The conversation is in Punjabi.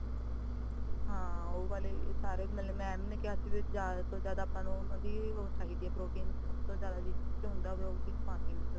ਹਾਂ ਉਹ ਵਾਲੇ ਸਾਰੇ mam ਨੇ ਕਿਹਾ ਸੀ ਵੀ ਜ਼ਿਆਦਾ ਤੋਂ ਜ਼ਿਆਦਾ ਆਪਾ ਨੂੰ ਉਹਨਾਂ ਦੀ ਉਹੋ protein ਚਾਹੀਦੀ ਆ ਸਭ ਤੋਂ ਜ਼ਿਆਦਾ ਵਿਚ ਉਹ ਹੁੰਦਾ ਉਹ ਚੀਜ਼ ਪਾਨੀ ਆ ਵਿੱਚ ਉਹਦੇ